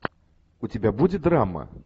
у тебя будет драма